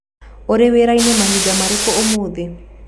Ũrĩ wĩra-inĩ mahinda marĩkũ ũmũthĩ?